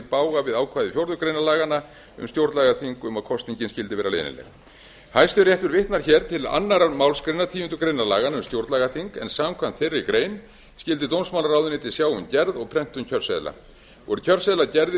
bága við ákvæði fjórðu grein laganna um stjórnlagaþing um að kosningin skyldi vera leynileg hæstiréttur vitnar til annarrar málsgreinar tíundu grein laganna um stjórnlagaþing en samkvæmt þeirri grein skyldi dómsmálaráðuneytið sjá um gerð og prentun kjörseðla voru kjörseðlar gerðir